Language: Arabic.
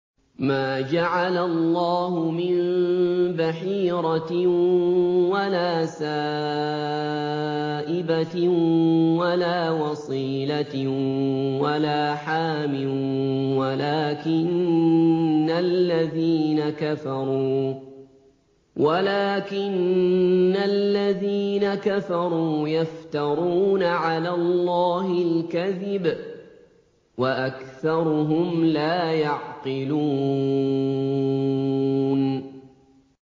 مَا جَعَلَ اللَّهُ مِن بَحِيرَةٍ وَلَا سَائِبَةٍ وَلَا وَصِيلَةٍ وَلَا حَامٍ ۙ وَلَٰكِنَّ الَّذِينَ كَفَرُوا يَفْتَرُونَ عَلَى اللَّهِ الْكَذِبَ ۖ وَأَكْثَرُهُمْ لَا يَعْقِلُونَ